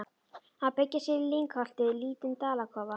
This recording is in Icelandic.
Að byggja sér í lyngholti lítinn dalakofa.